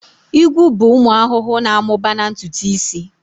Igwu bụ ụmụ ahụhụ na-amụba na ntutu isi